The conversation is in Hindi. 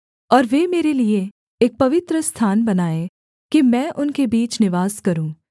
और वे मेरे लिये एक पवित्रस्थान बनाएँ कि मैं उनके बीच निवास करूँ